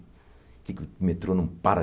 O que é que o metrô não para?